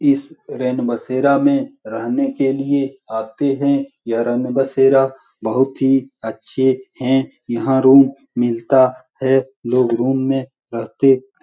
इस रैन बसेरा में रहने के लिए आते है यह रैन बसेरा बहुत ही अच्छे है यहाँ रूम मिलता है लोग रूम में रहते --